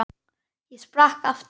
Ég sprakk aftur.